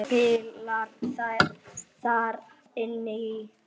Fleira spilar þar inn í.